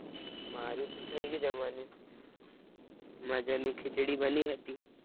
મારુ તો થય ગયું જમવાનું, મજાની ખીચડી બની હતી.